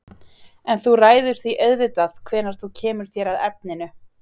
En þú ræður því auðvitað hvenær þú kemur þér að efninu.